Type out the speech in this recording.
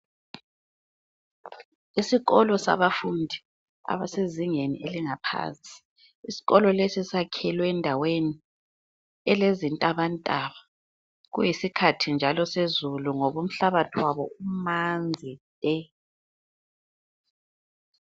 Isikolo sabafundi abasezingeni elingaphansi. Isikolo lesi sakhelwe endaweni elezintabantaba, kuyisikhathi njalo esezulu ngoba umhlabathi wabo umanzi te.